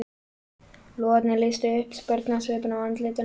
Logarnir lýstu upp spurnarsvipinn á andlitinu á honum.